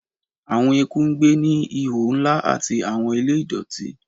Awọn eku n gbe ni ihò nla ati awọn ile idọti